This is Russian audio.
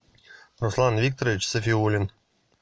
руслан викторович сафиулин